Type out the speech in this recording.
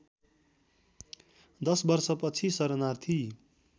दश वर्षपछि शरणार्थी